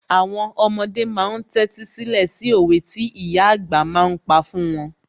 Àwọn ọmọdé ma ń tẹ́tí sílẹ̀ sí òwe tí ìyà àgbà ma ń pa fún wọn